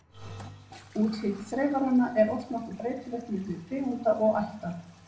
Útlit þreifaranna er oft nokkuð breytilegt milli tegunda og ætta.